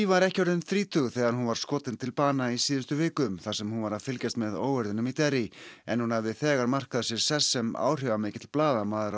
var ekki orðin þrítug þegar hún var skotin til bana í síðustu viku þar sem hún var að fylgjast með óeirðunum í Derry en hún hafði þegar markað sér sess sem áhrifamikill blaðamaður